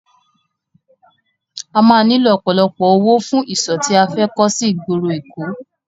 A máa nílò ọ̀pọ̀lọpọ̀ owó fún ìsò tí a fẹ́ kọ́ sí ìgboro èkó.